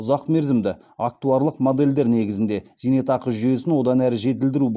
ұзақмерзімді актуарлық модельдер негізінде зейнетақы жүйесін одан әрі жетілдіру